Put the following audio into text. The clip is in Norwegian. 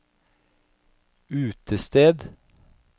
utested